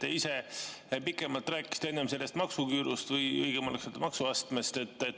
Te ise enne pikemalt rääkisite sellest maksuküürust või õigem oleks öelda maksuastmest.